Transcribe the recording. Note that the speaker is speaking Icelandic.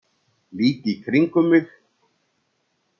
Lít í kringum mig.